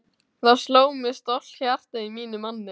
Þá sló stolt hjarta í mínum manni!